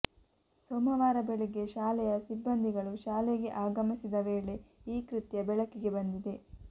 ಸೋಮವಾರ ಬೆಳಿಗ್ಗೆ ಶಾಲೆಯ ಸಿಬ್ಬಂದಿಗಳು ಶಾಲೆಗೆ ಆಗಮಿಸಿದ ವೇಳೆ ಈ ಕೃತ್ಯ ಬೆಳಕಿಗೆ ಬಂದಿದೆ